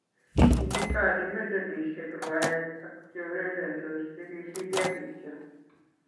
kikikochi medalisiek rwaek ak che ureriendos che kisirio kityo.